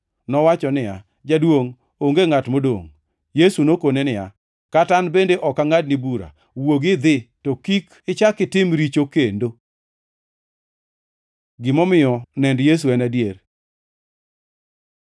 Nowacho niya, “Jaduongʼ, onge ngʼat modongʼ.” Yesu nokone niya, “Kata an bende ok angʼadni bura. Wuogi idhi, to kik ichak itim richo kendo.”] Gimomiyo nend Yesu en adier